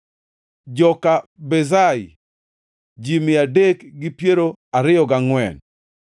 joka Bezai, ji mia adek gi piero ariyo gangʼwen (324),